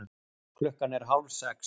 Klukkan er hálfsex.